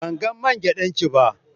Ban gan main giɗan ki ba,